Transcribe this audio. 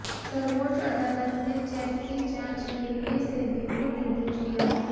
सर्वोच्च अदालत ने चेक की जांच के लिए सेबी को निर्देश दिया है